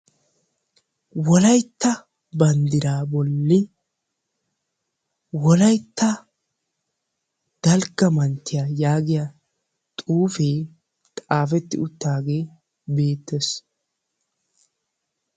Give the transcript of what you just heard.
Wolaytta banddira bolli Wolaytta dalgga manttiyaa giyaa xuufe xaafeti uttaage beettees.